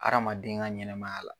Aramaden ka ɲɛnamaya la.